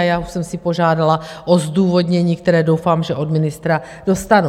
A já už jsem si požádala o zdůvodnění, které doufám, že od ministra dostanu.